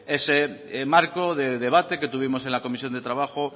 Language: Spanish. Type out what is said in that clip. ese marco de debate que tuvimos en la comisión de trabajo